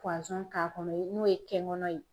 k'a kɔnɔ n'o ye kɛnkɔnɔ ye.